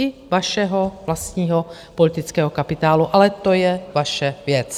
I vašeho vlastního politického kapitálu, ale to je vaše věc.